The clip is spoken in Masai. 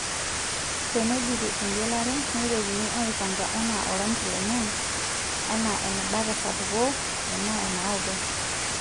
Teneidipi engelare, neitokini aaipanka anaa oranki lenye, anaa eneba tesapuko, enaa enaoto.